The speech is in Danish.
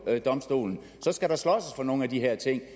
domstolen skal man slås om nogle af de her ting